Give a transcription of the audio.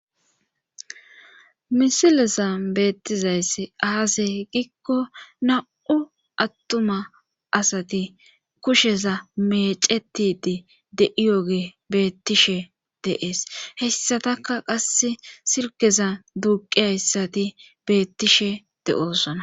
Misilesan beettizayssi aase giikko na7u attuma asati kusheza mecetidi de7iyoge beettishe deees hessataka qasse sirkeza duuqi hayssati beettishe de7oosona